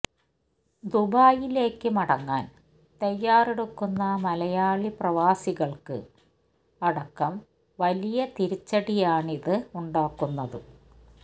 ദുബായിലേക്ക് മടങ്ങാന് തയ്യാറെടുക്കുന്ന മലയാളി പ്രവാസികള്ക്ക് അടക്കം വലിയ തിരിച്ചടിയാണിത് ഉണ്ടാക്കുന്നത്